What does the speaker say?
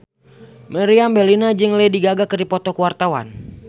Meriam Bellina jeung Lady Gaga keur dipoto ku wartawan